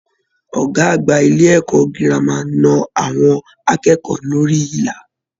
Ọgá àgbà ilé ẹ̀kọ́ gírámà na àwọn akẹ́kọ̀ọ́ lórí ìlà.